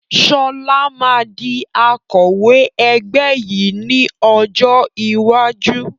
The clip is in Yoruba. Sọlá máa di Akọ̀wẹ́ ẹgbẹ́ yìí ni ọjọ́ iwájú